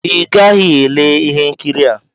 ị gaghị ele ihe nkiri a!